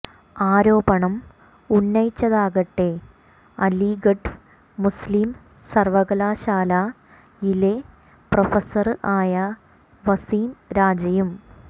ആരോപണം ഉന്നയിച്ചതാകട്ടെ അലിഗഢ് മുസ്ലീം സര്വ്വകലാശാലയിലെ പ്രൊഫസര് ആയ വസീം രാജയും